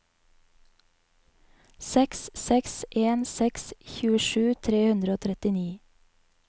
seks seks en seks tjuesju tre hundre og trettini